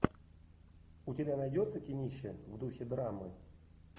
у тебя найдется кинище в духе драмы